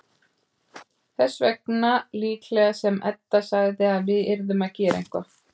Þess vegna líklega sem Edda sagði að við yrðum að gera eitthvað.